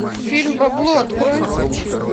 фильм бабло открой